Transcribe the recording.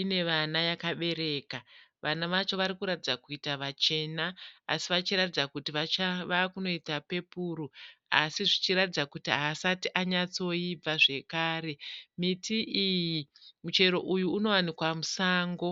ine vana yakabereka. Vana vacho vari kuratidza kuita vachena asi vachiratidza kuti vakunoita pepuru asi zvichiratidza kuti haasati anyatsoibva zvakare. Miti iyi, muchero uyu unowanikwa musango.